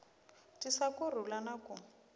tisa ku rhula na ku